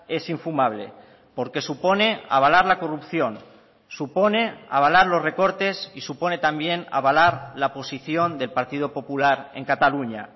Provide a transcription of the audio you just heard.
es infumable porque supone avalar la corrupción supone avalar los recortes y supone también avalar la posición del partido popular en cataluña